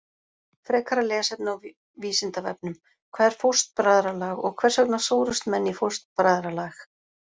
Frekara lesefni á Vísindavefnum: Hvað er fóstbræðralag og hvers vegna sórust menn í fóstbræðralag?